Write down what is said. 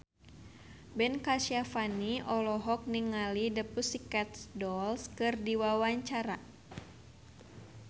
Ben Kasyafani olohok ningali The Pussycat Dolls keur diwawancara